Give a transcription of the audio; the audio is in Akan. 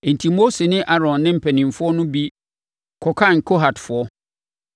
Enti Mose ne Aaron ne mpanimfoɔ no bi kɔkan Kohatfoɔ